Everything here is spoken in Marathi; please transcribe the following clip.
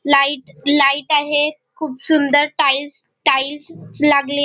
लाइट लाइट आहेत खुप सुंदर टाइल्स टाइल्स लागले.